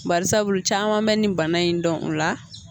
Bakarisabu caman be ni bana in dɔn o la